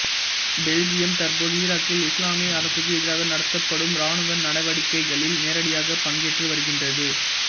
Belgium தற்போது ஈராக்கில் இசுலாமிய அரசுக்கு எதிராக நடத்தப்படும் இராணுவ நடவடிக்கைகளில் நேரடியாகப் பங்கேற்று வருகின்றது